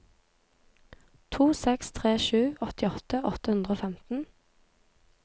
to seks tre sju åttiåtte åtte hundre og femten